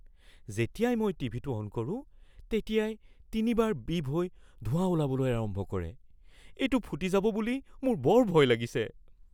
যেতিয়াই মই টিভিটো অন কৰো তেতিয়াই তিনিবাৰ বিপ হৈ ধোঁৱা ওলাবলৈ আৰম্ভ কৰে। এইটো ফুটি যাব বুলি মোৰ বৰ ভয় লাগিছে।